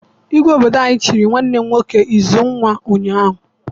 Igwe obodo anyị chịrị nwanne m nwoke Uzunwa ụnyaahụ.